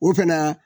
O fɛnɛ